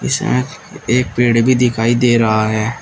इसमें एक पेड़ भी दिखाई दे रहा है।